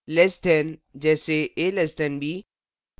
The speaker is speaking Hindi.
less than से कम : जैसेa <b